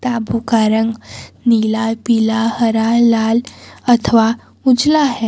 यहां बुक का रंग नीला पीला हरा लाल अथवा उजला है।